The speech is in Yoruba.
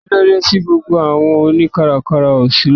Kílódé tí gbogbo àwọn oni káràkárà ó ṣí lónìí?